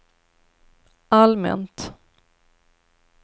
allmänt